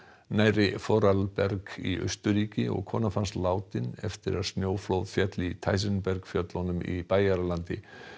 nærri Vorarlberg í Austurríki og kona fannst látin eftir að snjóflóð féll í fjöllunum í Bæjaralandi